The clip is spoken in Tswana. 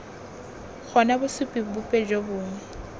gona bosupi bope jo bongwe